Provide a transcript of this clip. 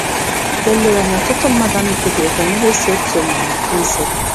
Eleghị anya, ọtụtụ mmadụ anụtụbeghị banyere São Tomé na Príncipe.